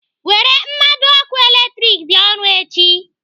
Were mmado ọkụ latrik bịa ọrụ echi.